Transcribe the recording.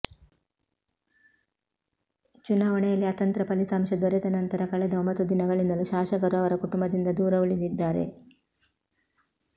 ಚುನಾವಣೆಯಲ್ಲಿ ಅತಂತ್ರ ಫಲಿತಾಂಶ ದೊರೆತ ನಂತರ ಕಳೆದ ಒಂಬತ್ತು ದಿನಗಳಿಂದಲೂ ಶಾಸಕರು ಅವರ ಕುಟುಂಬದಿಂದ ದೂರ ಉಳಿದಿದ್ದಾರೆ